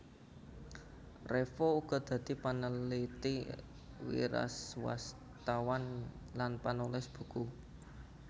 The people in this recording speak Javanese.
Revo uga dadi paneliti wiraswastawan lan panulis buku